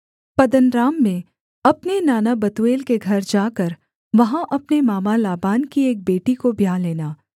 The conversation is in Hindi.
पद्दनराम में अपने नाना बतूएल के घर जाकर वहाँ अपने मामा लाबान की एक बेटी को ब्याह लेना